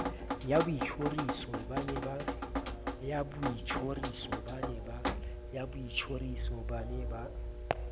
ya boitjhoriso ba ne ba